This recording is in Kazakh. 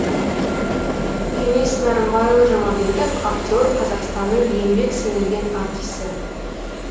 кеңес нарымбайұлы жұмабеков актер қазақстанның еңбек сіңірген артисі